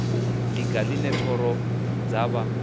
ḽiga ḽine thoro dza vha